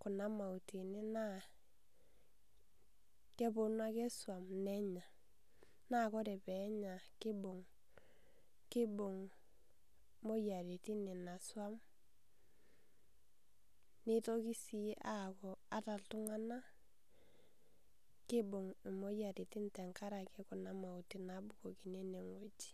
kuna mauti ene na keponu ake swan nenya na ore penya kibung imoyiaritin ina swan nitoki aaku ata ltunganak kibung imoyiaritin tenkaraki kuna takitakani nabukokini enewueji.